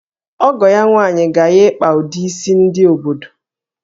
Ọgọ ya nwaanyị ga-ya ịkpa ụdị isi ndị obodo